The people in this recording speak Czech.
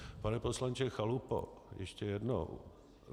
Pane poslanče Chalupo, ještě jednou.